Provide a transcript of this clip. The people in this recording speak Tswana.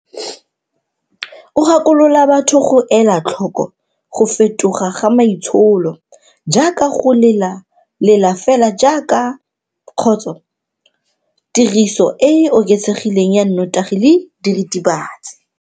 O gakolola batho go ela tlhoko go fetoga ga maitsholo, jaaka go lela lela fela kgotsa tiriso e e oketsegileng ya nnotagi le diritibatsi.